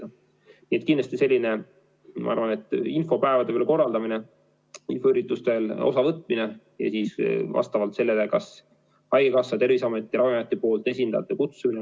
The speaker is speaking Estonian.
Nii et kindlasti selline, ma arvan, infopäevade korraldamine, infoüritustest osavõtmine ja kas haigekassa, Terviseameti või Ravimiameti esindajate kutsumine.